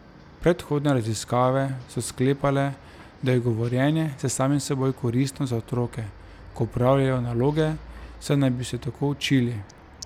Predhodne raziskave so sklepale, da je govorjenje s samim seboj koristno za otroke, ko opravljajo naloge, saj naj bi se tako učili.